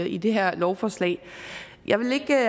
i det her lovforslag jeg vil ikke